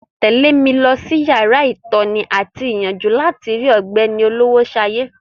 Tẹ̀lé mi lọ sí yàrá ìtọ́ni àti ìyànjú láti rí ọ̀gbẹ́ni Olowoshaye.